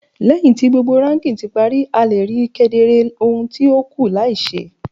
Lẹhin ti gbogbo raking ti pari, a le rii kedere ohun ti o kù lai ṣe